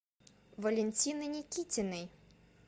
валентины никитиной